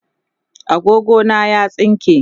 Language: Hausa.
agogo na ya tsinke